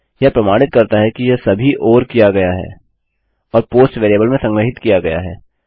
यह प्रमाणित करता है कि यह सभी ओर किया गया है और पोस्ट वेरिएबल में संग्रहीत किया गया है